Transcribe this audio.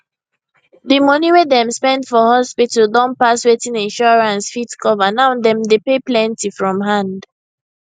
di money wey dem spend for hospital don pass wetin insurance fit cover now dem dey pay plenty from hand